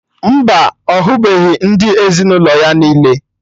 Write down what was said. Mba, ọ hụbeghị ndị ezinụlọ ya niile